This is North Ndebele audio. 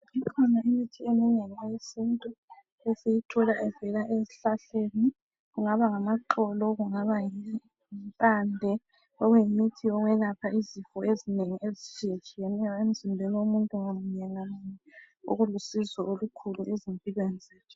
Ikhona imithi eminengi eyesintu esiyithola evela esihlahleni kungaba ngamaxolo kungaba yimpande okunguyimithi okwelapha izifo ezinengi ezitshiyatshiyeneyo emzimbeni womuntu ngamunye ngamunye okulusizo olukhulu ezimpilweni zethu .